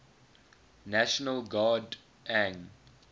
national guard ang